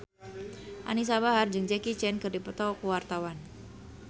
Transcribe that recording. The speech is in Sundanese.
Anisa Bahar jeung Jackie Chan keur dipoto ku wartawan